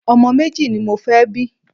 Ọmọ méjì ni mo fẹ́ bí.